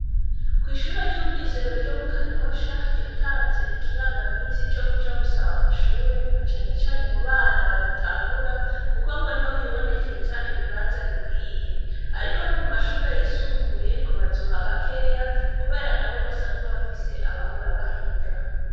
Kw'ishure ry'umwizero ryo mu kanyosha rihatanze ikiranga misi co kuja gusaba amashure na canecane mu bana bagitangura, kuko ngo ntihohibonekeza ibibanza bikwiye, ariko no mu mashure yisumbuye ngo bazuha bakeya, kubera na bo basanzwe bafise abahora bahiga.